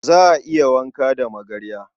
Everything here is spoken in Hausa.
Za a iya wanka da magarya.